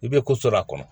I bɛ kosola kɔnɔ